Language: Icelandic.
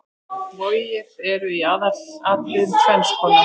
Vogir eru í aðalatriðum tvenns konar.